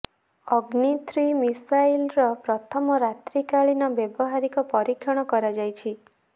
ଅଗ୍ନୀ three ମିସାଇଲର ପ୍ରଥମ ରାତ୍ରିକାଳୀନ ବ୍ୟବହାରିକ ପରୀକ୍ଷଣ କରାଯାଇଛି